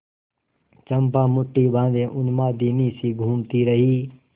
चंपा मुठ्ठी बाँधे उन्मादिनीसी घूमती रही